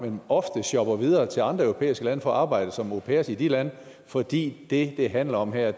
men ofte shopper videre til andre europæiske lande for at arbejde som au pairer i de lande fordi det det handler om her